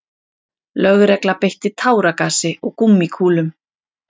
Lögregla beitti táragasi og gúmmíkúlum